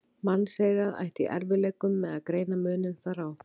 Mannseyrað ætti í erfiðleikum með að greina muninn þar á.